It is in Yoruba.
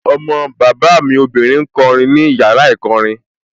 Ọmọ bàbá mi obìnrin ń kọ orin ní yàrá ìkọrin